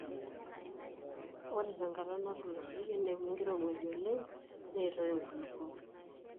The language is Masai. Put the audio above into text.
ore te nkata natulusoyie neewuo enkirowuaj oleng neitoi inkulupuok